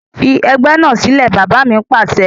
Fi ẹgbẹ́ náà sílẹ̀! Bàbá mi Pàṣẹ.